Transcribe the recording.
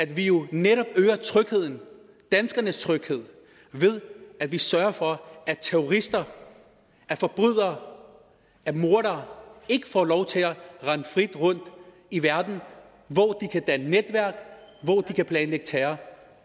vi jo netop trygheden danskernes tryghed ved at vi sørger for at terrorister at forbrydere at mordere ikke får lov til at rende frit rundt i verden hvor de kan danne netværk hvor de kan planlægge terror